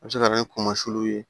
A bɛ se ka na ni kɔlɔlɔw ye